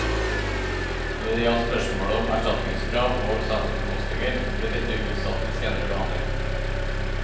Når det gjaldt spørsmålet om erstatningskrav og saksomkostninger, ble dette utsatt til senere behandling.